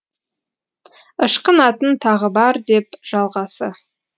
ышқынатын тағы бар деп жалғасы